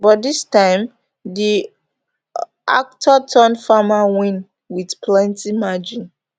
but dis time di actorturnfarmer win wit plenti margin